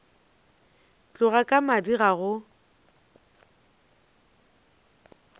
tloga ka madi ga go